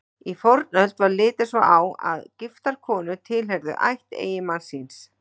Í fornöld var litið svo á að giftar konur tilheyrðu ætt eiginmanns síns.